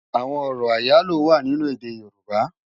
Awòn òrò áyáló wá ninú èdè yorùbá